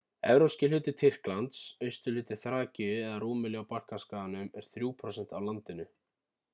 evrópski hluti tyrklands austurhluti þrakíu eða rúmelíu á balkanskaganum er 3% af landinu